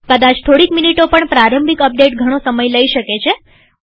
કદાચ થોડીક મીનીટો પણ પ્રારંભિક અપડેટ ઘણો સમય લઇ શકે છે